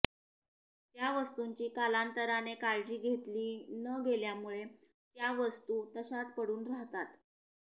त्या वस्तूंची कालांतराने काळजी घेतली न गेल्यामुळे त्या वस्तू तशाच पडून राहतात